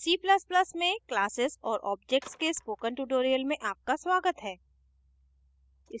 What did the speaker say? c ++ में classes और objects के spoken tutorial में आपका स्वागत है